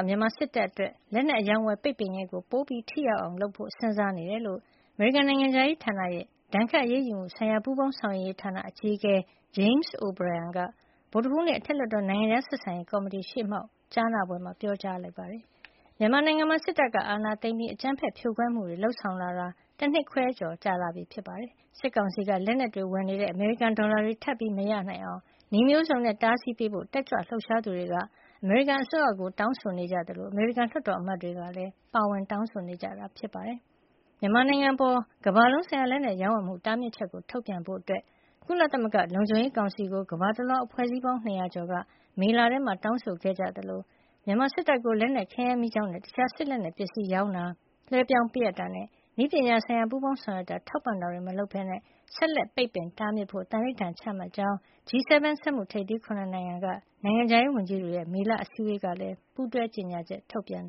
မြန်မာစစ်တပ်အတွက် လက်နက်အရောင်းအဝယ် ပိတ်ပင်ရေးကို ပိုမိုထိရောက်အောင် လုပ်ဆောင်ဖို့ စဉ်းစားနေတယ်လို့ အမေရိကန် နိုင်ငံခြားရေးဌာနရဲ့ ဒဏ်ခတ်အရေးယူမှုဆိုင်ရာ ပူးပေါင်းဆောင်ရွက်ရေး ဌာန အကြီးအကဲ James O’Brien က ဗုဒ္ဓဟူးနေ့ အထက်လွှတ်တော် နိုင်ငံခြား ဆက်ဆံရေးကော်မတီရှေ့မှောက် ကြားနာပွဲမှာ ပြောကြားခဲ့ပါတယ်။ မြန်မာနိုင်ငံမှာ စစ်တပ်က အာဏာသိမ်းပြီး အကြမ်းဖက်ဖြိုခွဲမှုတွေ လုပ်ဆောင်လာတာ တနှစ်ခွဲကျော်ကြာလာပြီဖြစ်ပြီး စစ်ကောင်စီက လက်နက်တွေ ဝယ်နေတဲ့ အမေရိကန်ဒေါ်လာတွေ ထပ်မရနိုင်အောင် နည်းမျိုးစုံနဲ့ တားဆီးပေးဖို့ တက်ကြွလှုပ်ရှားသူတွေက အမေရိကန်အစိုးရကို တောင်းဆိုနေကြသလို အမေရိကန် လွှတ်တော်အမတ်တွေကလည်း ပါဝင်တောင်းဆိုနေကြတာ ဖြစ်ပါတယ်။ မြန်မာနိုင်ငံအပေါ် ကမ္ဘာလုံးဆိုင်ရာ လက်နက်ရောင်းဝယ်မှု တားမြစ်ချက်ကို ထုတ်ပြန်ဖို့ ကုလသမဂ္ဂ လုံခြုံရေးကောင်စီကို ကမ္ဘာတလွှား အဖွဲ့အစည်းပေါင်း ၂၀၀ ကျော်က မေလထဲမှာ တောင်းဆိုခဲ့ကြသလို မြန်မာစစ်တပ်ကို လက်နက်၊ ခဲယမ်းမီးကျောက်နဲ့ တခြား စစ်လက်နက် ပစ္စည်းတွေ ရောင်းချတာ၊ လွှဲပြောင်း ပေးအပ်တာနဲ့ နည်းပညာဆိုင်ရာ ပူးပေါင်း ဆောင်ရွက်တာ၊ ထောက်ပံ့တာတွေ မလုပ်ဘဲ ဆက်လက် ပိတ်ပင် တားမြစ်ဖို့ သန္နိဌာန် ချမှတ်ကြောင်း G 7 စက်မှု ထိပ်သီး ၇ နိုင်ငံ က နိုင်ငံခြားရေးဝန်ကြီးတွေရဲ့ မေလ အစည်းဝေးကလည်း ပူးတွဲ ကြေညာချက် ထုတ်ပြန်